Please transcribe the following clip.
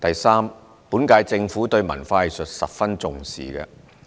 三本屆政府對文化藝術十分重視。